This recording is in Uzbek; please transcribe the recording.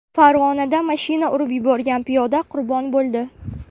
Farg‘onada mashina urib yuborgan piyoda qurbon bo‘ldi.